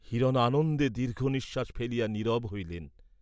হিরণ আনন্দে দীর্ঘ নিঃশ্বাস ফেলিয়া নীরব হইলেন।